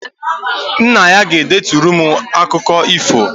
Nna anyị ga-edeturu m akụkọ ifo